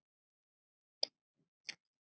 Elfa og Úlfar.